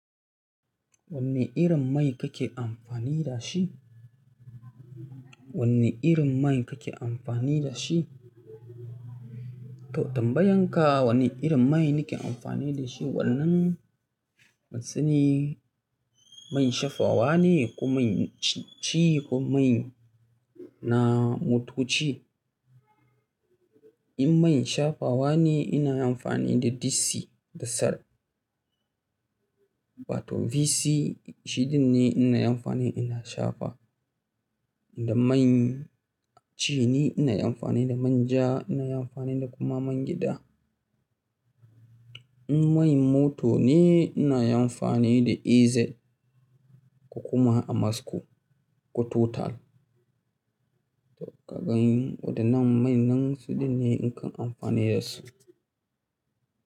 Wani irin mai kake amfani da shi? Wani irin mai kake amfani da shi? To tambayan ka wani irin mai nake amfani da shi? Wannnan wasu ne man shafawa ne ko man ci ko mai na motoci. In man shafawa ne ina amfani da VC da Sar, ba to VC shiɗin ne ina amfani ina shafa. Da main ci ne ina amfani da manja, ina amfani da kuma man gida. In man mota ne ina amfani da EZ ko kuma Amasco ko Total. To ka gan waɗannan man nan su ɗinne in ke amfani da su.